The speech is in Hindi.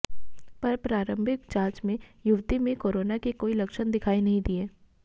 पर प्रारंभिक जांच में युवती में कोरोना के कोई लक्षण दिखायी नहीं दिए